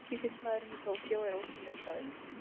Tsukiji fiskmarkaðurinn í Tókýó er ótrúlegur staður.